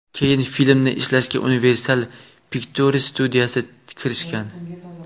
Keyin filmni ishlashga Universal Pictures studiyasi kirishgan.